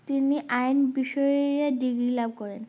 তিনি আইন বিষয়ে degree লাভ করেন